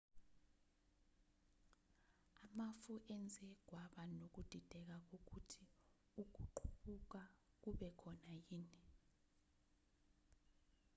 amafu enze kwaba nokudideka kokuthi ukuqubuka kube khona yini